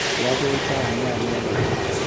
Ya beit ab nyanyek ochei